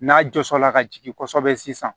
N'a jɔs la ka jigin kosɛbɛ sisan